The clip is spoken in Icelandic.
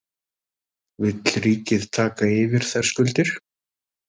Vill ríkið taka yfir þær skuldir?